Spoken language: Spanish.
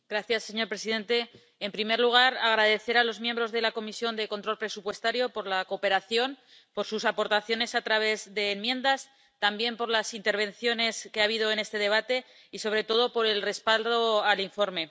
Señor presidente, en primer lugar, deseo agradecer a los miembros de la Comisión de Control Presupuestario su cooperación y sus aportaciones a través de enmiendas, y también las intervenciones que ha habido en este debate y, sobre todo, el respaldo al informe.